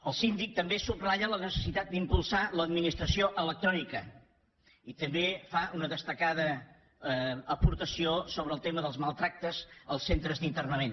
el síndic també subratlla la necessitat d’impulsar l’administració electrònica i també fa una destacada aportació sobre el tema dels maltractaments als centres d’internament